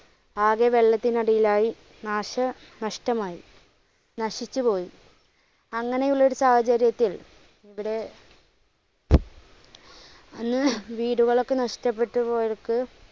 ആകെ വെളളത്തിനടിയിലായി. നാശനഷ്ടമായി, നശിച്ചുപോയി, അങ്ങനെ ഉള്ള ഒരു സാഹചര്യത്തിൽ ഇവിടെ വീടുകൾ ഒക്കെ നഷ്ട്ടപ്പെട്ട് പോയവർക്ക്,